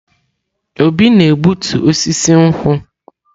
Obi na-egbutu osisi nkwu.